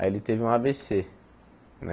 Aí ele teve um á vê cê, né?